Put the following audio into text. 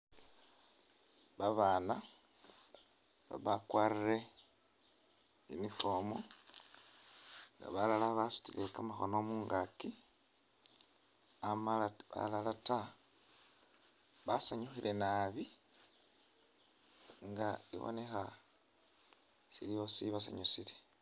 Ba bana ba bakwarire uniform, nga balala basutile kamakhono mungakyi amala balala ta, basanyukhile nabi ibonekha waliwo shibasanyusile.